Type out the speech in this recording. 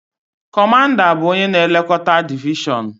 Kọmanda bụ onye na-elekọta divishọn